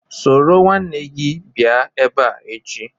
Soro nwanne gi bia ebea echi